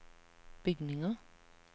bygninger